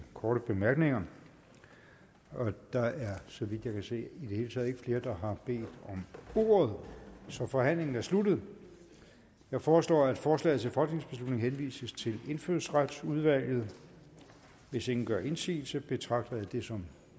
korte bemærkninger der er så vidt jeg kan se i det hele taget ikke flere der har bedt om ordet så forhandlingen er sluttet jeg foreslår at forslaget til folketingsbeslutning henvises til indfødsretsudvalget hvis ingen gør indsigelse betragter jeg det som